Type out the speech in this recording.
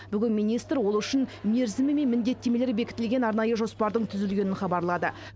бүгін министр ол үшін мерзімі мен міндеттемелері бекітілген арнайы жоспардың түзілгенін хабарлады